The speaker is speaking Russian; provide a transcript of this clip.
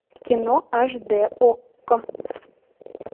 кино аш д окко